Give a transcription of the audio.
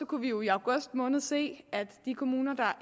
kunne vi jo i august måned se at de kommuner der